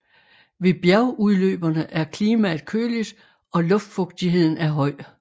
Ved bjergudløberne er klimaet køligt og luftfugtigheden er høj